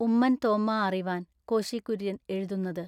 ഉമ്മൻ തോമ്മാ അറിവാൻ കോശി കുര്യൻ എഴുതുന്നതു.